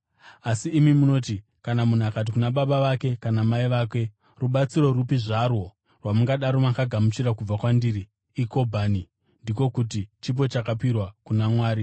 Asi imi munoti, kana munhu akati kuna baba kana mai vake, ‘Rubatsiro rupi zvarwo rwamungadaro makagamuchira kubva kwandiri iKobhani’ (ndiko kuti, chipo chakapirwa kuna Mwari),